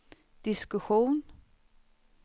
diskussion